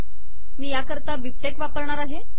मी याकरता बिबटेक्स बीबटेक वापरणार आहे